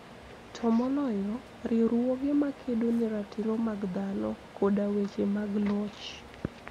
To moloyo, riwruoge makedo ne ratiro mag dhano koda weche mag loch.